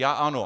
Já ano!